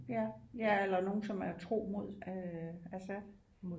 Ja ja eller nogle som er tro mod øh Assad